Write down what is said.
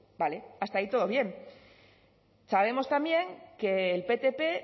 vale hasta ahí todo bien sabemos también que el ptp